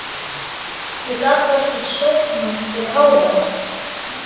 Ég gat varla sofnað fyrir hávaða.